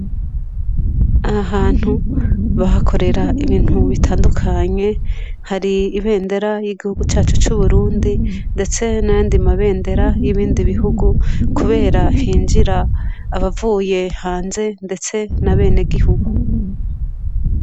Aha hantu bahakorera ibintu bitandukanye hari ibendera ryigihugu cacu c' uburundi ndetse n'ayandi mabendera yibindi bihugu kubera hinjira abavuye hanze ndetse n' abenegihugu.